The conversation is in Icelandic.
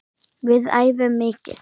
Við æfum mikið.